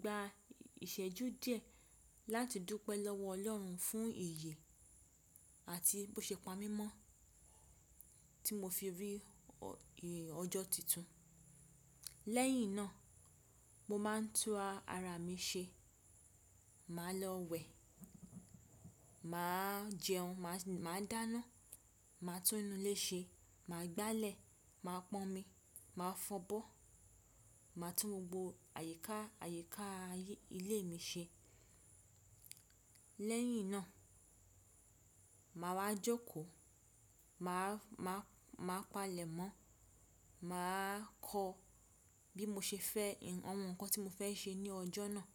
gba ìṣẹ́jú díẹ̀ láti dúpẹ́ lọ́wọ́ ọlọ́run fún iyè àti bó ṣe pa mí mọ́ tí mo fi rí ọjọ́ titun. Lẹ́yìn náà, mo máa ń tún ara mi ṣe, màá lọ wẹ̀, màá jẹun, màá dáná, màá tún inú ilé ṣe, màá gbálẹ̀, màá pọn omi, màá fọbọ́, màá tún gbogbo àyíká àyíká ilé mi ṣe. Lẹ́yìn náà, mà wa jókó, màá palẹ̀ mọ́, màá kọ bí mo ṣe fẹ́ àwọn nǹkan tí mo fẹ́ ṣe ní ọjọ́ náà.